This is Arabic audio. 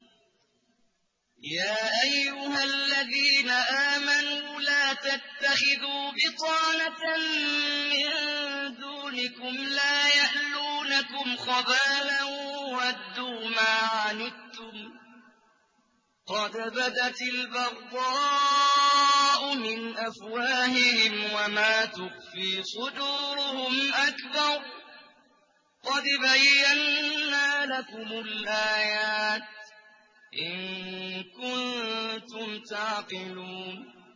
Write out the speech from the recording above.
يَا أَيُّهَا الَّذِينَ آمَنُوا لَا تَتَّخِذُوا بِطَانَةً مِّن دُونِكُمْ لَا يَأْلُونَكُمْ خَبَالًا وَدُّوا مَا عَنِتُّمْ قَدْ بَدَتِ الْبَغْضَاءُ مِنْ أَفْوَاهِهِمْ وَمَا تُخْفِي صُدُورُهُمْ أَكْبَرُ ۚ قَدْ بَيَّنَّا لَكُمُ الْآيَاتِ ۖ إِن كُنتُمْ تَعْقِلُونَ